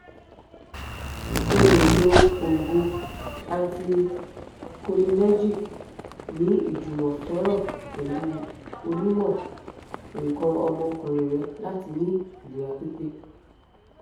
o le lo oogun anticholinergic ni ijumọsọrọ pẹlu onimọ nkan omokunrin rẹ lati ni ilera pipe